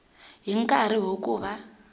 hi nkarhi wa ku va